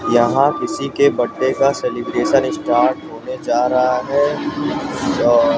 यहां किसी के बड्डे का सेलिब्रेशन स्टार्ट होने जा रहा है औ--